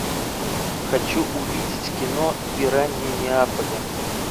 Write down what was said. хочу увидеть кино пираньи неаполя